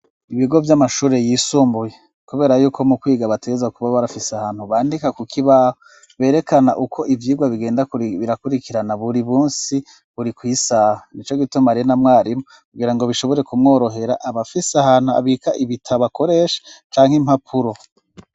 Ibigo vy'amashure yisumbuye kubera yuko mu kwiga bategerezwa kuba barafise ahantu bandika ku kibaho berekana uko ivyigwa bigenda birakurikirana buri munsi buri kw'isaha nico gituma rero na mwarimu kugira ngo bishobore kumworohera abafise ahantu abika ibitabo akoresha canke impapuro.